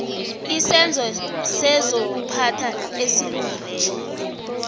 isenzo sezokuphatha esilungileko